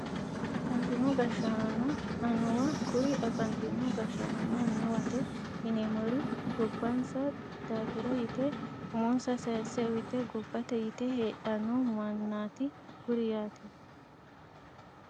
Afantino gashshaanonna annuwa kuri afantino gashshaanonna annuwate yineemmori gobbansa daafira yite umonsa sayisse uyite gobbate yite heedhanno maannaati kuri yaate